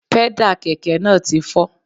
Pẹ́dà kẹ̀kẹ́ náà ti fọ́